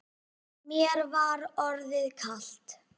Mér var orðið kalt.